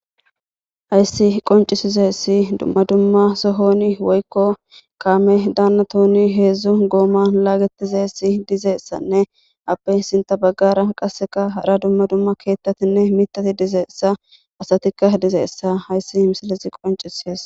Hayssi qonccisizayssi dumama dumma sohon woykko kaamedan heezzu gooman laagetidayssanne appe sinththa bagara appekka hara dumma dumma keeththatinne miththati dizayssa asatikka dizayssa hayssi misilezi qonccisees.